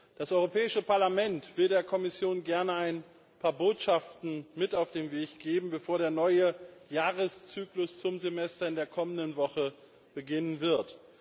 Das Europäische Parlament will der Kommission gern ein paar Botschaften mit auf den Weg geben, bevor der neue Jahreszyklus zum Semester in der kommenden Woche beginnen wird.